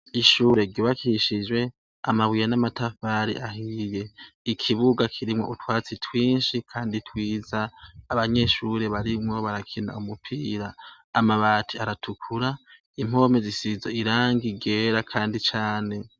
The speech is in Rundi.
Ishure ryubakishijwe amabuye n'amatafari, ikibuga kirimwo utwatsi twinshi kandi twiza, abanyeshure barimwo barakina umupira, amabati aratukura, impome zisize irangi ryera kandi cane.